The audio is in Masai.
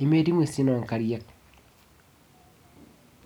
nemetii ng'uesin onkariak.